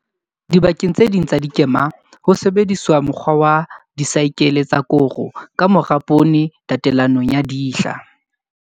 Dibakeng tse ding tsa dikema ho sebediswa mokgwa wa disaekele tsa koro ka mora poone tatelanong ya dihla.